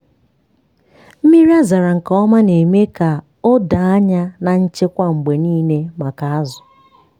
mmiri a zara aza nke ọma na-eme ka a doo anya na nchekwa mgbe niile maka azụ.